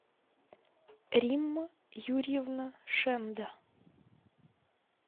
римма юрьевна шенда